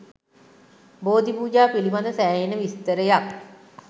බෝධි පූජා පිළිබද සෑහෙන විස්තරයක්